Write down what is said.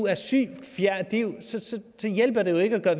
er syg hjælper det jo ikke at